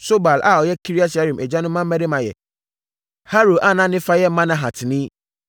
Sobal a ɔyɛ Kiriat-Yearim agya no mmammarima yɛ Haroe a ne fa yɛ Manahatini